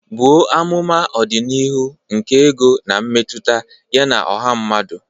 Buo amụma ọdịnihu nke ego na mmetụta ya na ọha mmadụ.